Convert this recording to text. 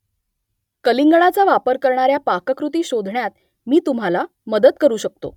कलिंगडाचा वापर करणाऱ्या पाककृती शोधण्यात मी तुम्हाला मदत करू शकतो